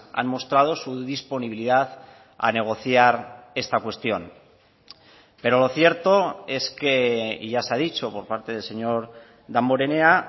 han mostrado su disponibilidad a negociar esta cuestión pero lo cierto es que y ya se ha dicho por parte del señor damborenea